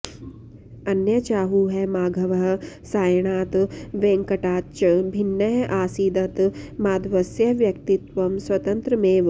अन्ये चाहुः माघवः सायणात् वेङ्कटाच्च भिन्न अासीदतः माधवस्य व्यक्तित्वं स्वतन्त्रमेव